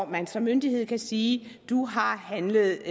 man som myndighed kan sige du har handlet